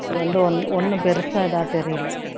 அது வந்து ஒண் ஒண்ணும் பெருசா இதா தெரியல